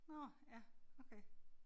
Nåh ja okay